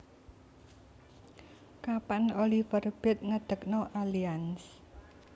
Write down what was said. Kapan Oliver Bate ngedekno Allianz